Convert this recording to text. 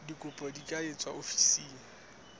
dikopo di ka etswa ofising